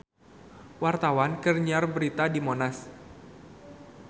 Wartawan keur nyiar berita di Monas